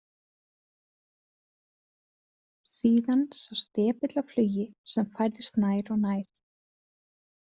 Síðan sást depill á flugi sem færðist nær og nær.